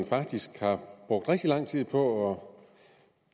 faktisk har brugt rigtig lang tid på